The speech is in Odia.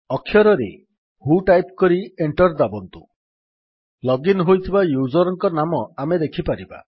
ଅକ୍ଷରରେ ହ୍ୱୋ ଟାଇପ୍ କରି ଏଣ୍ଟର୍ ଦାବନ୍ତୁ ଲଗ୍ ଇନ୍ ହୋଇଥିବା ୟୁଜର୍ ଙ୍କ ନାମ ଆମେ ଦେଖିପାରିବା